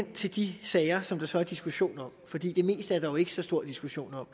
til de sager som der er diskussion om fordi det meste er der jo ikke så stor diskussion om